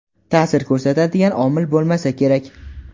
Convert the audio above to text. ta’sir ko‘rsatadigan omil bo‘lmasa kerak.